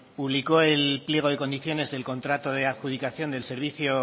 publicó el pliego de condiciones del contrato de adjudicación del servicio